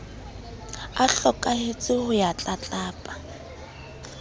a hlokahetse ho ya tlatlapa